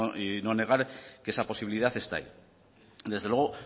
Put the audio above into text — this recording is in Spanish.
y no negar que esa posibilidad está ahí desde luego